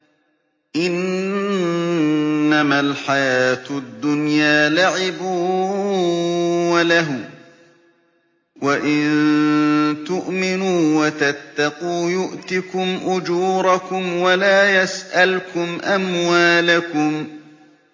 إِنَّمَا الْحَيَاةُ الدُّنْيَا لَعِبٌ وَلَهْوٌ ۚ وَإِن تُؤْمِنُوا وَتَتَّقُوا يُؤْتِكُمْ أُجُورَكُمْ وَلَا يَسْأَلْكُمْ أَمْوَالَكُمْ